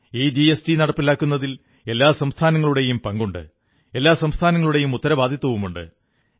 ഈ ജിഎസ്ടി നടപ്പിലാക്കുന്നതിൽ എല്ലാ സംസ്ഥാനങ്ങളുടെയും പങ്കുണ്ട് എല്ലാ സംസ്ഥാനങ്ങളുടെയും ഉത്തരവാദിത്തവുമുണ്ട്